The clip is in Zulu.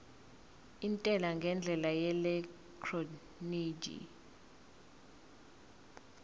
intela ngendlela yeelektroniki